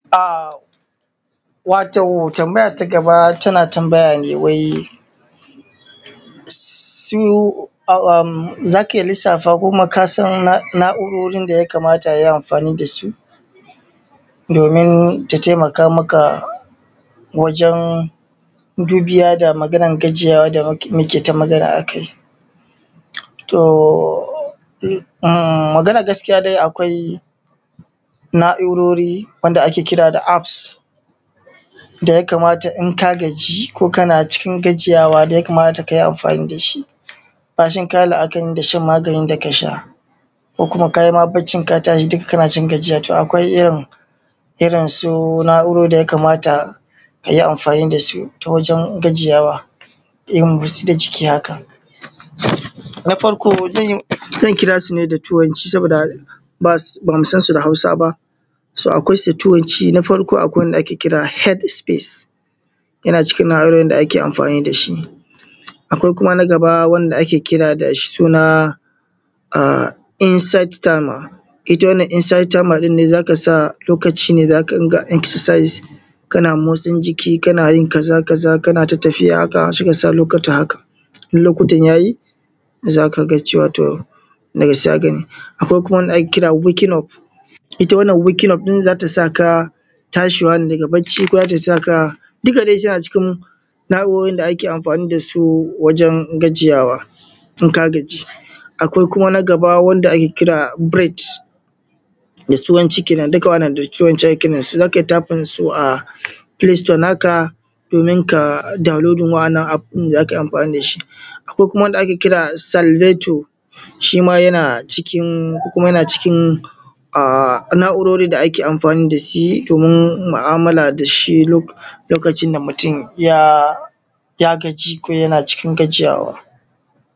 Wato tambaya ta gaba tana tambaya ne, za ka iya lissafa ko kuma kasan na'urorin da ya kamata a yi amfani da su domin ta taimaka wajen dubiya da gajiya ta muke ta magana a aki. Maganar gaskiya dai akwai na'urorin da ake kira apps. Wanda idan ka kaji ko kana cikin gajiya ka yi amfani da shi bacin ka yi la'akari da shan magani ko kuma ka yi bacci ka tashi dukka kana cikin gajiya akwai irinsu na'urorin da ya kamata aka yi amfani da su don gajiyawa irin na motsa jiki haka. Na farko zan kira su ne da turanci saboda ba mu san su da Hausa ba. Akwai wanda ake kira da Heavy space yana cikin na'urorin da ake amfani da shi. Akwai kuma na gaba na inside timer, in za ka sa lokaci ne, kana motsa jiki haka kana yin tafiya haka sai ka sa lokaci, in lokutan ya yi za ka cewa za ka yi. Akwai kuma wanda ake cewa Weaking Up, ita wannan Weaking Up za ta sa ka tashi ne daga bacci ko za ta saka dukka dai suna cikin na'urorin da ake amfani da su wajen gajiyawa idan ka gaji. Akwai kuma na gaba wanda ake kira da Breed da turanci kenan, dukka da turanci ake kiransu za ka iya typing su a Play store naka domin ka ka downloading waɗannan apps ɗin da za ka yi amfani da su. Akwai wanda ake Sernydator shi ma yana ciki na'urorin da ake amfani da shi domin mu'amala lokacin da mutum ya gaji ko yana cikin gajiyawa.